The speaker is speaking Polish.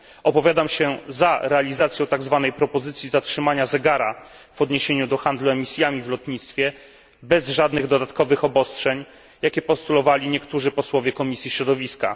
Opowiadam się za realizacją tak zwanej propozycji zatrzymania zegara w odniesieniu do handlu emisjami w lotnictwie, bez żadnych dodatkowych obostrzeń, za jakimi opowiadali się niektórzy posłowie Komisji Środowiska.